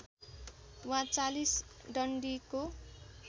वा ४० डन्डीको